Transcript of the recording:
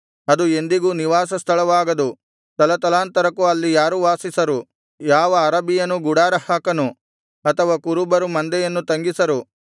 ಅದು ಎಂದಿಗೂ ನಿವಾಸ ಸ್ಥಳವಾಗದು ತಲತಲಾಂತರಕ್ಕೂ ಅಲ್ಲಿ ಯಾರೂ ವಾಸಿಸರು ಯಾವ ಅರಬಿಯನೂ ಗುಡಾರ ಹಾಕನು ಅಥವಾ ಕುರುಬರು ಮಂದೆಯನ್ನು ತಂಗಿಸರು